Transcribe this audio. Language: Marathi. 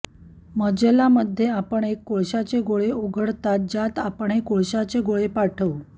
मजला मध्ये आपण एक कोळशाचे गोळे उघडतात ज्यात आपण हे कोळशाचे गोळे पाठवू